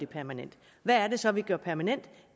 permanent hvad er det så vi gør permanent